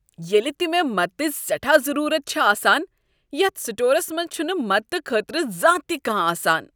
ییلِہ تِہ مےٚ مدتٕچ سیٹھاہ ضرورت چھ آسان یتھ سٹورس منٛز چُھنہٕ مدتہٕ خٲطرٕ زانٛہہ تِہ کانٛہہ آسان ۔